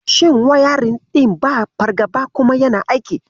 Shin wayarin ɗin ba fargaba kuma yana aiki?